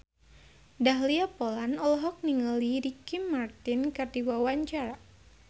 Dahlia Poland olohok ningali Ricky Martin keur diwawancara